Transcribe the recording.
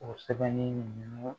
O sɛbɛnni ninnu